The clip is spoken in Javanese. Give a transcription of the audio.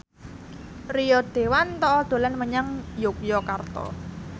Rio Dewanto dolan menyang Yogyakarta